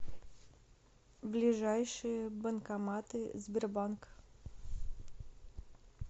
ближайшие банкоматы сбербанк